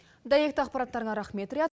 дәйекті ақпараттарыңа рахмет риат